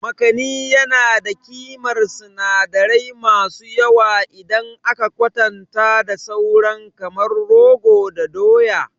Makani yana da ƙimar sinadirai masu yawa idan aka kwatanta da sauran kamar rogo da doya.